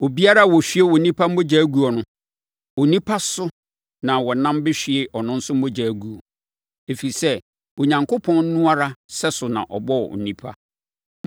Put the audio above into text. “Obiara a ɔhwie onipa mogya guo no, onipa so na wɔnam bɛhwie ɔno nso mogya aguo, ɛfiri sɛ, Onyankopɔn no ara sɛso na ɔbɔɔ onipa.